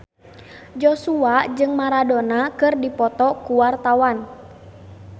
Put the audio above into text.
Joshua jeung Maradona keur dipoto ku wartawan